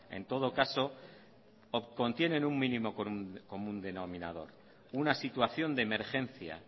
en todo caso contienen un mínimo común denominador una situación de emergencia